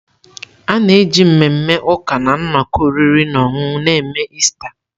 A na-eji mmemme ụka na nnọkọ oriri na ọṅụṅụ na-eme Ista.